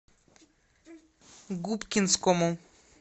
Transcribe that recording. губкинскому